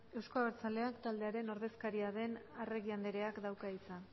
euzko abertzaleak taldearen ordezkaria den arregi andreak dauka hitza